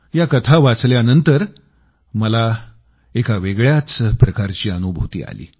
या कथा वाचल्यानंतर मला एका वेगळ्याच प्रकारची अनुभूती आली